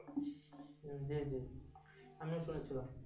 হুম্ জি জি আমি শুনেছিলাম।